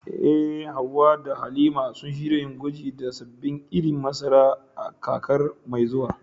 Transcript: Eh, Hawwa da Halima sun shirya yin gwaji da sabbin irin masara a kakar mai zuwa.